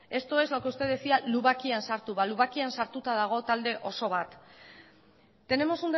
esto es lo que usted decía lubakian sartu balu ba lubakian sartuta dago talde oso bat tenemos